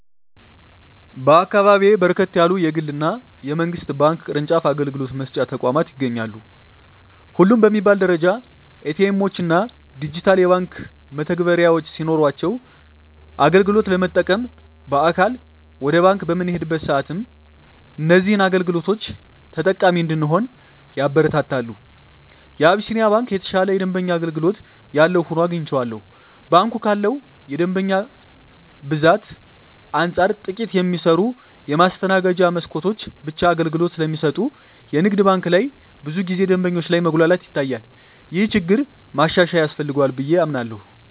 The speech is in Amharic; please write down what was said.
በአካባቢየ በርከት ያሉ የግል እና የመንግስት ባንክ ቅርጫፍ አገልግሎት መስጫ ተቋማት ይገኛሉ። ሁሉም በሚባል ደረጃ ኤ.ቲ. ኤምዎች እና ዲጂታል የባንክ መተግበሪያዎች ሲኖሯቸው አገልግሎት ለመጠቀም በአካል ወደ ባንክ በምንሄድበት ሰአትም እዚህን አገልግሎቶች ተጠቃሚ እንድንሆን ያበረታታሉ። የአቢስንያ ባንክ የተሻለ የደንበኛ አገልግሎት ያለው ሆኖ አግኝቸዋለሁ። ባንኩ ካለው የደንበኛ ብዛት አንፃር ጥቂት የሚሰሩ የማስተናገጃ መስኮቶች ብቻ አገልግሎት ስለሚሰጡ የንግድ ባንክ ላይ ብዙ ጊዜ ደንበኞች ላይ መጉላላት ይታያል። ይህ ችግር ማሻሻያ ያስፈልገዋል ብየ አምናለሁ።